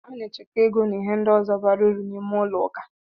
A na-echekwa ego na ihe ndi ọzọ bara uru n'ime ụlọ akụ.